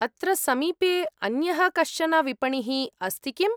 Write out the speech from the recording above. अत्र समीपे अन्यः कश्चन विपणिः अस्ति किम्?